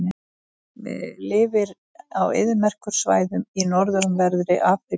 Lifir á eyðimerkursvæðum í norðanverðri Afríku.